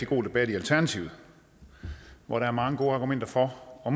god debat i alternativet hvor der er mange gode argumenter for og